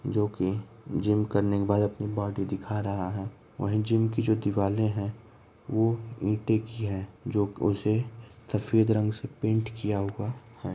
जो कि जिम करने के बाद अपनी बॉडी दिखा रहा है। वहीं जिम की जो दिवाले हैं वो मिट्टी की हैं जो उसे सफ़ेद रंग से पेंट किया हुआ है।